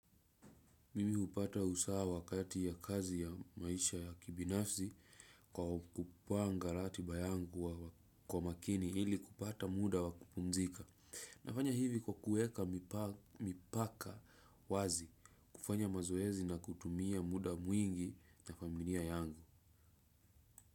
Mimi hupata usawa kati ya kazi ya maisha ya kibinafsi kwa kupanga ratiba yangu kwa makini ili kupata muda wakupumzika. Nafanya hivi kwa kueka mipaka wazi kufanya mazoezi na kutumia muda mwingi na familia yangu.